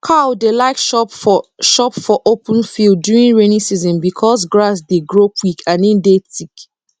cow dey like chop for chop for open field during rainy season becos grass dey grow quick and e dey thick